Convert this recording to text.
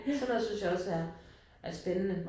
Sådan noget synes jeg også er er spændende